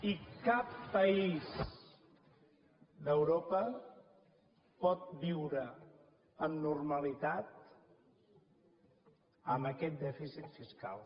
i cap país d’europa pot viure amb normalitat amb aquest dèficit fiscal